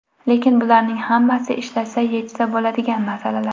Lekin bularning hammasi ishlasa yechsa bo‘ladigan masalalar.